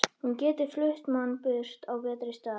Hún getur flutt mann burt á betri stað.